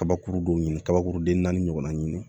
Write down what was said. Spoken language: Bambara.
Kabakuru dɔw ɲini kabakuru den naani ɲɔgɔnna ɲini